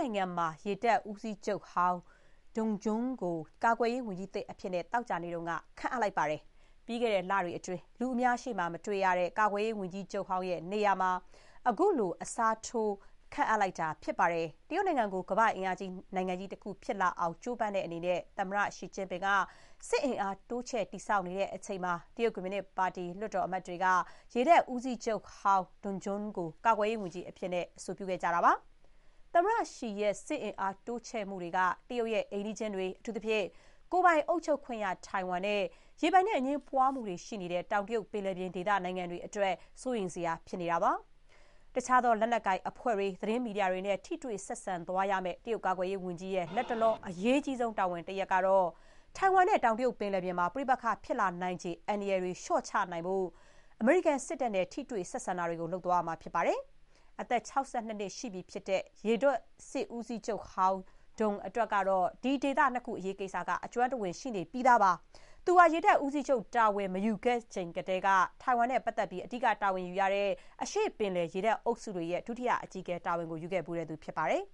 နိုင်ငံမှာ ရေတပ်ဦးစီးချုပ်ဟောင်း Dong Jun ကို ကာကွယ်ရေး ဝန်ကြီးသစ်အဖြစ် သောကြာနေ့က ခန့်အပ်လိုက်ပါတယ်။ ပြီးခဲ့တဲ့ လတွေအတွင်း လူအများရှေ့မှာ မတွေ့ရတဲ့ ကာကွယ်ရေးဝန်ကြီးချုပ်ဟောင်း နေရာမှာ ခုလို အစားထိုး ခန့်အပ်လိုက်တာ ဖြစ်ပါတယ်။ တရုတ်နိုင်ငံကို ကမ္ဘာ့အင်အားကြီး နိုင်ငံကြီးတခု ဖြစ်လာအောင် ကြိုးပမ်းတဲ့ အနေနဲ့ သမ္မတ Xi Jinping က စစ်အင်အား တိုးချဲ့တည်ဆောက်နေချိန်မှာ တရုတ် တရုတ်ကွန်မြူနစ်ပါတီ လွှတ်တော် အမတ်တွေက ရေတပ်ဦးစီးချုပ်ဟောင်း Dong Jun ကို ကာကွယ်ရေးဝန်ကြီးအဖြစ် အဆိုပြုခဲ့ကြတာပါ။ သမ္မတရှီရဲ့ စစ်အင်အား တိုးချဲ့မှုတွေက တရုတ်ရဲ့ အိမ်နီးချင်းတွေ၊ အထူးသဖြင့် ကိုယ်ပိုင်အုပ်ချုပ်ခွင့်ရ ထိုင်ဝမ်နဲ့ ရေပိုင်နက် အငြင်းပွားမှုတွေ ရှိနေတဲ့ တောင်တရုတ်ပင်လယ်ပြင်ဒေသ နိုင်ငံတွေအတွက် စိုးရိမ်စရာ ဖြစ်နေတာပါ။ တခြားသော လက်နက်ကိုင် အဖွဲ့တွေ၊ သတင်းမီဒီယာတွေနဲ့ ထိတွေ့ ဆက်ဆံသွားရမယ့် တရုတ် ကာကွယ်ရေး ဝန်ကြီးရဲ့ လတ်တလော အရေးကြီးဆုံး တာဝန်တရပ်ကတော့ ထိုင်ဝမ်နဲ့ တောင်တရုတ်ပင်လယ်ပြင်မှာ ပဋိပက္ခဖြစ်လာနိုင်ချေ အန္တရာယ်တွေ လျှော့ချနိုင်အောင် အမေရိကန်စစ်တပ်နဲ့ ထိတွေ့ဆက်ဆံမှုတွေ လုပ်သွားရမှာ ဖြစ်ပါတယ်။ အသက် ၆၂ နှစ်ရှိပြီ ဖြစ်တဲ့ ရေတပ်စစ်ဦးစီးချုပ်ဟောင်း Dong အတွက်တော့ ဒီဒေသနှစ်ခု အရေးကိစ္စက အကျွမ်းတဝင် ရှိနေပြီးသား ဖြစ်ပါတယ်။ သူဟာ ရေတပ်ဦးစီးချုပ်တာဝန် မယူခဲ့ခင်ကတည်းက ထိုင်ဝမ်နဲ့ပတ်သက်ပြီး အဓိက တာဝန်ယူရတဲ့ အရှေ့ပင်လယ် ရေတပ်အုပ်စုတွေရဲ့ ဒုတိယအကြီးအကဲ တာဝန်ယူခဲ့ဖူးသူ ဖြစ်ပါတယ်